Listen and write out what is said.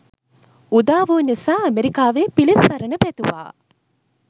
උදාවූ නිසා ඇමරිකාවේ පිලිසරණ පැතුවා.